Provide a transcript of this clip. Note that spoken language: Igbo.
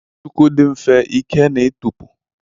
Shuku dị mfe ike na ịtọpụ.